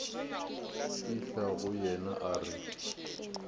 fihla go yena a re